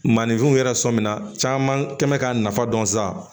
Maninfinw yɛrɛ sɔmina caman kɛ mɛ k'a nafa dɔn sisan